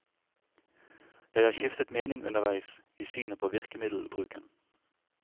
Jeg har skiftet mening underveis, i synet på virkemiddelbruken.